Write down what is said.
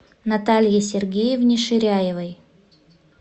наталье сергеевне ширяевой